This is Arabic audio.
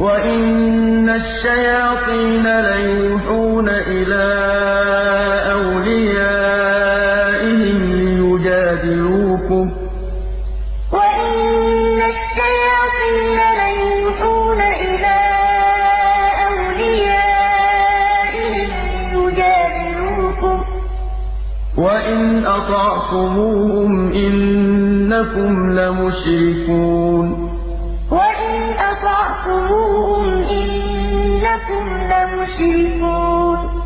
وَإِنَّ الشَّيَاطِينَ لَيُوحُونَ إِلَىٰ أَوْلِيَائِهِمْ لِيُجَادِلُوكُمْ ۖ وَإِنْ أَطَعْتُمُوهُمْ إِنَّكُمْ لَمُشْرِكُونَ وَلَا تَأْكُلُوا مِمَّا لَمْ يُذْكَرِ اسْمُ اللَّهِ عَلَيْهِ وَإِنَّهُ لَفِسْقٌ ۗ وَإِنَّ الشَّيَاطِينَ لَيُوحُونَ إِلَىٰ أَوْلِيَائِهِمْ لِيُجَادِلُوكُمْ ۖ وَإِنْ أَطَعْتُمُوهُمْ إِنَّكُمْ لَمُشْرِكُونَ